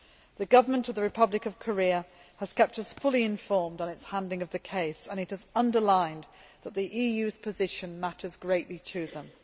The government of the Republic of Korea has kept us fully informed on its handling of the case, and it has underlined that the EU's position matters greatly to them.